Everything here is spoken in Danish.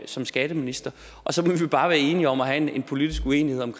som skatteminister og så må vi bare være enige om have en politisk uenighed om